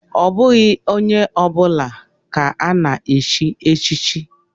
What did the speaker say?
Ọ bụghị onye ọ bụla ka ana-echi echichi.